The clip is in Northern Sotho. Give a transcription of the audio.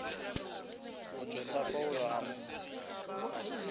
go mo hlapaola a mo